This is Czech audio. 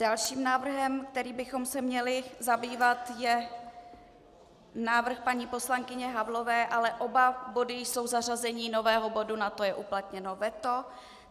Dalším návrhem, kterým bychom se měli zabývat, je návrh paní poslankyně Havlové, ale oba body jsou zařazení nového bodu a na to je uplatněno veto.